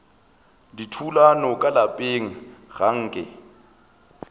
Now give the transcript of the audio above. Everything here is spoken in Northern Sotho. dithulano ka lapeng ga nke